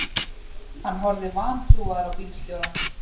Hann horfði vantrúaður á bílstjórann.